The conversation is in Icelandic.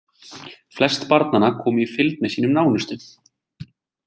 Flest barnanna komu í fylgd með sínum nánustu.